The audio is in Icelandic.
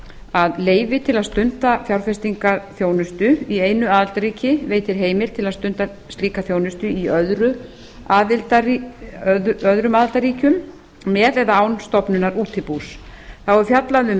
að leyfi til að stunda fjárfestingarþjónustu í einu aðildarríki veitir heimild til að stunda slíka þjónustu í öðrum aðildarríkjum eða eða án stofnunar útibús þá er fjallað um